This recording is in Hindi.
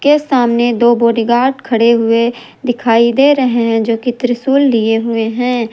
यह सामने दो बॉडीगार्ड खड़े हुए दिखाई दे रहे हैं जो कि त्रिशूल लिए हुए हैं।